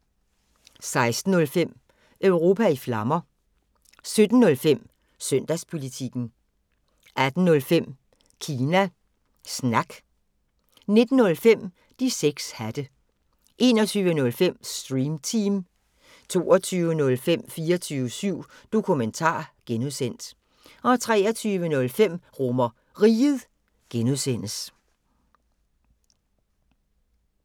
16:05: Europa i Flammer 17:05: Søndagspolitikken 18:05: Kina Snak 19:05: De 6 hatte 21:05: Stream Team 22:05: 24syv Dokumentar (G) 23:05: RomerRiget (G)